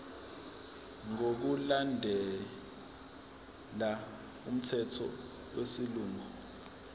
ngokulandela umthetho wesilungu